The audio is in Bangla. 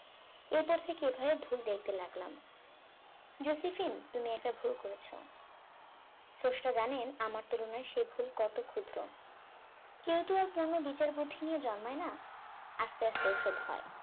এরপর থেকে এভাবে ভুল দেখতে লাগলাম জোসিফিল তুমি একটা ভুল করেছো স্রষ্টা জানেন আমার তুলনায় সেই ভুল কত ক্ষুদ্র কেউ তো আর পূর্ণ বিচার বুদ্ধি নিয়ে জন্মায় না আস্তে আস্তে ও সব হয়